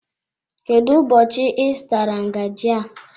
Kedụ ụbọchị I zụtara ngaji a?